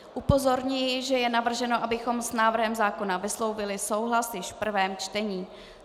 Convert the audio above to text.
Upozorňuji, že je navrženo, abychom s návrhem zákona vyslovili souhlas již v prvém čtení.